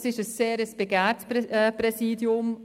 Das ist ein sehr begehrtes Präsidium.